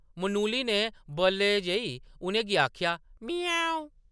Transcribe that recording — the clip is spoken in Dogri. मनुली ने बल्लै जेही उ’नें गी आखेआ, “म्याऊं” ।